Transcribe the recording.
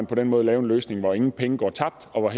på den måde lave en løsning hvor ingen penge går tabt og